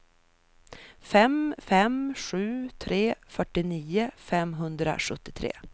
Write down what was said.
fem fem sju tre fyrtionio femhundrasjuttiotre